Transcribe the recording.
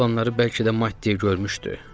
Gecə olanları bəlkə də maddi görmüşdü.